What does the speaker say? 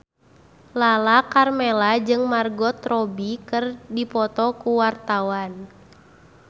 Lala Karmela jeung Margot Robbie keur dipoto ku wartawan